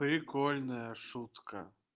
прикольная шутка